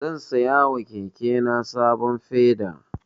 Zan saya wa kekena sabon peda.